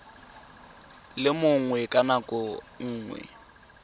le mongwe ka nako nngwe